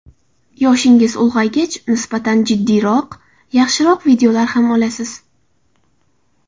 Yoshingiz ulg‘aygach, nisbatan jiddiyroq, yaxshiroq videolar ham olasiz.